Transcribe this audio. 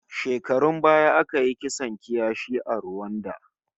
Shekarun baya aka yi kisan kiyashi a Ruwanda